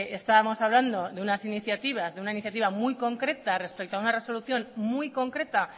estábamos hablando de una iniciativa muy concreta respecto a una resolución muy concreta